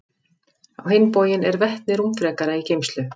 Á hinn bóginn er vetni rúmfrekara í geymslu.